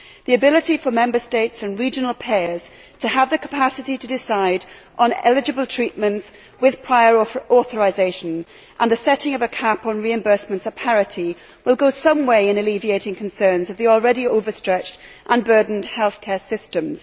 The ability for Member States and regional pairs to have the capacity to decide on eligible treatments with prior authorisation and a setting of a cap on reimbursements will go some way in alleviating concerns about the already overstretched and burdened healthcare systems.